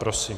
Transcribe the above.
Prosím.